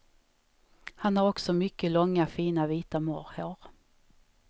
Han har också mycket långa fina vita morrhår.